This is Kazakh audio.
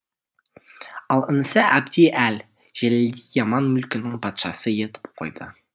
ал інісі әбді әл жәлелді и аман мүлкінің патшасы етіп қойды